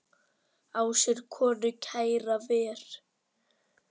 Á sér konu kæra ver.